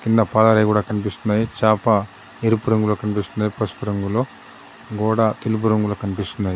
కింద పాలరాయి కూడా కనిపిస్తున్నది. చాప ఎరుపు రంగులో కనిపిస్తున్నది పసుపు రంగులో. గోడ తెలుపు రంగులో కనిపిస్తున్నది.